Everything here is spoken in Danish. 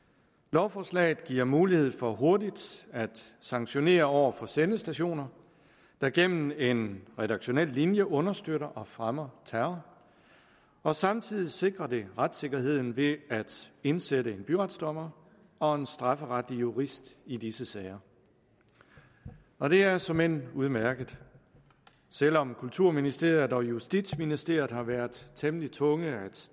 lovforslaget giver mulighed for hurtigt at sanktionere over for sendestationer der gennem en redaktionel linje understøtter og fremmer terror og samtidig sikrer det retssikkerheden ved at indsætte en byretsdommer og en strafferetlig jurist i disse sager og det er såmænd udmærket selv om kulturministeriet og justitsministeriet har været temmelig tunge at